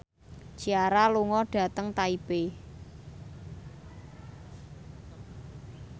Ciara lunga dhateng Taipei